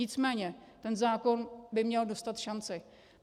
Nicméně ten zákon by měl dostat šanci.